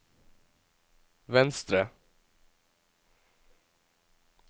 venstre